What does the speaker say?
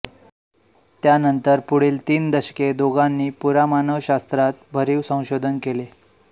त्यानंतर पुढील तीन दशके दोघांनी पुरामानवशास्त्रात भरीव संशोधन केले